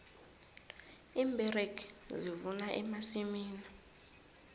iimberegi zivuna emasimini